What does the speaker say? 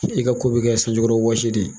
I ka ko bɛ kɛ sanji kɔrɔ wɔsi de ye.